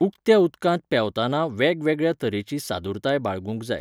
उकत्या उदकांत पेंवताना वेगवेगळ्या तरेची सादूरताय बाळगूंक जाय